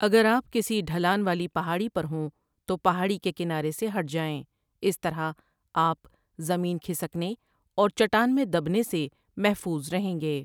اگر آپ کسی ڈھلان والی پہاڑی پرہوں تو پہاڑی کے کنارے سے ہٹ جائیں اس طرح آپ زمین کھسکنے اور چٹان میں دبنے سےمحفوظ رہیں گے۔